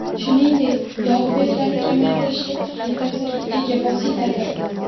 Shuningdek, yog‘ bezlarini kamaytirishda kuchli ta’sirga ega vositadir.